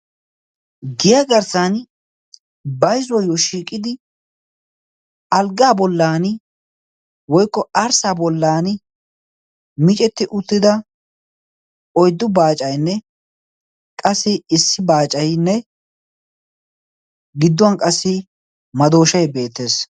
giya garssan baizuwooyyo shiiqidi alggaa bollan woikko arssa bollan miicetti uttida oiddu baacainne qassi issi baacainne gidduwan qassi madooshai beettees.